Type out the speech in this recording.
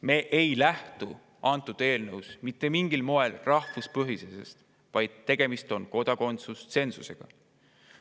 Me ei lähtu selles eelnõus mitte mingil moel rahvuspõhisusest, vaid tegemist on kodakondsustsensusega.